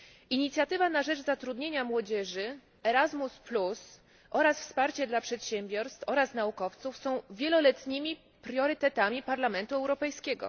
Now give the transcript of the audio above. Inicjatywa na rzecz zatrudnienia młodzieży Erasmus plus oraz wsparcie dla przedsiębiorstw i naukowców są wieloletnimi priorytetami Parlamentu Europejskiego.